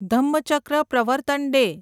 Dhammachakra Pravartan day